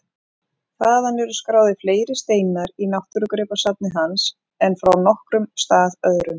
Þaðan eru skráðir fleiri steinar í náttúrugripasafni hans en frá nokkrum stað öðrum.